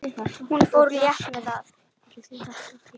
Hún fór létt með það.